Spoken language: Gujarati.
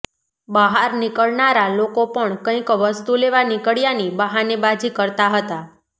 બહાર નીકળનારા લોકો પણ કંઈક વસ્તુ લેવા નીકળ્યાની બહાનેબાજી કરતા હતા